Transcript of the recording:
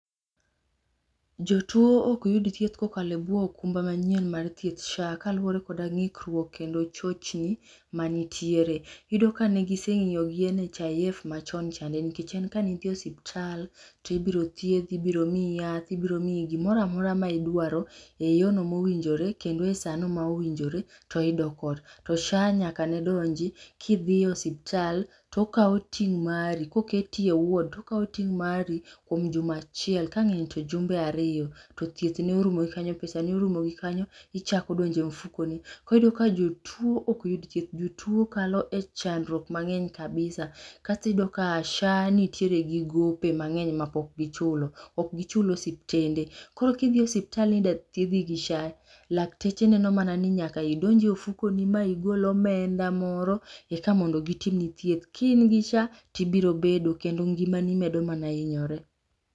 Jotuo ok yud thieth kokalo buo okumba manyien mar thieth SHA kaluore koda ngikruok kendo chochni manitiere, Iyudo ka negisengiyo gi NHIF machon cha nikech en kane idhi e osiptal tibiro thiedhi, ibiro miyi yath, ibiro miyi gimoro amora ma idwaro e yono ma owinjore kendo e sano ma owinjore to idok ot. To SHA nyaka nedonji kidhie osiptal tokao ting mari, koketi e ward, tokaw ting mari kuom juma achiel kangeny to jumbe ariyo to thieth ne orumo kanyo, pesa ni orumo kanyo, ichako donjo e mfukoni. Koro iyudo ka jotuo ok yud thieth, jotuo kalo e chandruok mangeny kabisa. Kasto iyudo ka SHA nitiere gi gope mangeny mapok gichulo, ok gichul osiptende .Koro kidhi e osiptal ni idhwa thiedhi gi SHA lakteche neno mana ni nyaka idonje ofukoni ma igol omenda moro eka mondo gitimni thieth. Ka ingi SHA tibiro bedo kendo ngimani medo mana hinyore